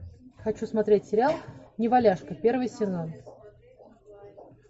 хочу смотреть сериал неваляшка первый сезон